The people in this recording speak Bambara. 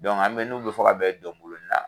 Dɔnku an n'u bɛ fɔ ka bɛn dɔnkolon na